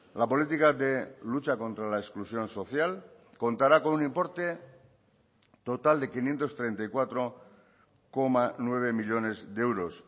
la política de lucha contra la exclusión social contará con un importe total de quinientos treinta y cuatro coma nueve millónes de euros